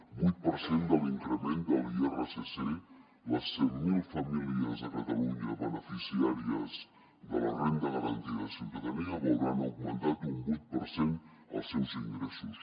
vuit per cent de l’increment de l’irsc les cent mil famílies de catalunya beneficiàries de la renda garantida de ciutadania veuran augmentat un vuit per cent els seus ingressos